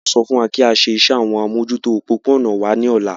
Wọn yóò sọ fún wa kí á ṣe iṣẹ́ àwọn amójútó òpópó-ònà wa ní ọ̀la